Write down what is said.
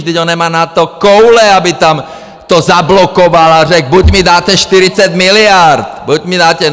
Vždyť on nemá na to koule, aby tam to zablokoval a řekl: Buď mi dáte 40 miliard, buď mi dáte...